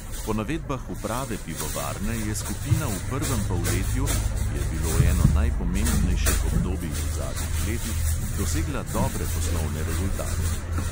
Po navedbah uprave pivovarne je skupina v prvem polletju, ki je bilo eno najpomembnejših obdobij v zadnjih letih, dosegla dobre poslovne rezultate.